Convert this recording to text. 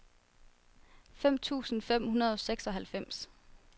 fem tusind fem hundrede og seksoghalvfems